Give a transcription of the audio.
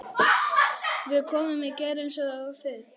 Við komum í gær eins og þið.